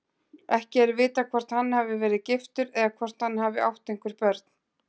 Ekki er vitað hvort hann hafi verið giftur eða hvort hann hafi átt einhver börn.